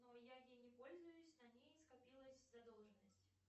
но я ей не пользуюсь на ней скопилась задолженность